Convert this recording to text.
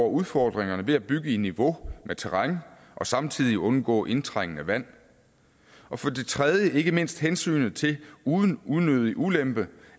udfordringer ved at bygge i niveau med terrænet og samtidig undgå indtrængende vand og for det tredje ikke mindst hensynet til uden unødig ulempe